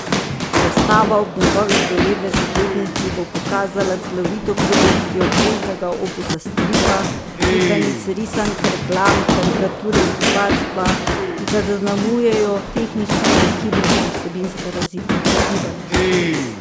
Razstava ob njegovi devetdesetletnici bo pokazala celovito produkcijo obsežnega opusa stripa, slikanic, risank, reklam, karikature in kiparstva, ki ga zaznamujejo tehnična brezhibnost in vsebinska razgibanost.